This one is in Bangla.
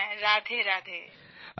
হ্যাঁ রাধেরাধে